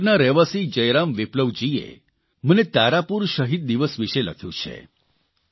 મુંગેરના રહેવાસી જયરામ વિપ્લવજીએ મને તારાપુર શહીદ દિવસ વિષે લખ્યું છે